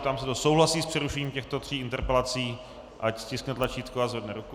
Ptám se, kdo souhlasí s přerušením těchto tří interpelací, ať stiskne tlačítko a zvedne ruku.